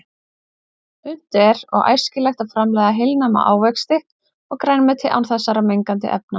Unnt er og æskilegt að framleiða heilnæma ávexti og grænmeti án þessara mengandi efna.